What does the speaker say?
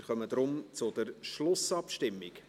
Wir kommen deshalb zur Schlussabstimmung.